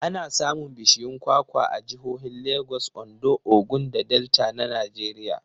Ana samun bishiyun kwakwa a jihohin Lagos, Ondo, Ogun da Delta na Najeriya.